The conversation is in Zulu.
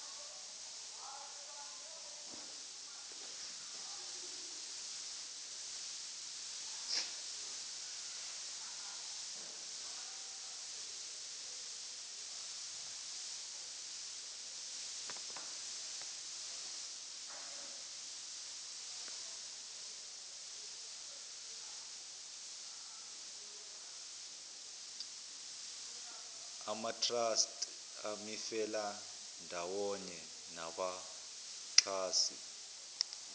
amatrust imifelandawonye nabaxhasi